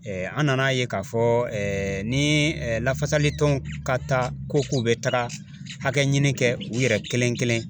Ɛɛ an nan'a ye k'a fɔ Ɛɛ ni lafasali tɔnw ka taa ko k'u be taga hakɛ ɲini kɛ u yɛrɛ kelen kelen